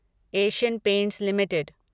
Asian Paints limited